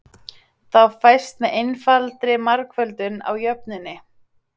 Þá fæst með einfaldri margföldun á jöfnunni